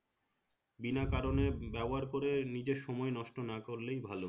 বিনা কারণে ব্যবহার করে নিজের সময় নষ্ট না করলেই ভালো